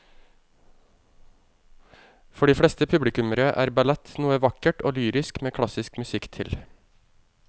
For de fleste publikummere er ballett noe vakkert og lyrisk med klassisk musikk til.